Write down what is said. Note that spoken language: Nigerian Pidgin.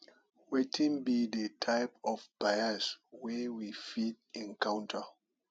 wetin be di type of bias wey we fit encounter